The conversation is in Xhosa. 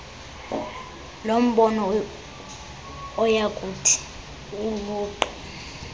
lombono oyakuthi uquke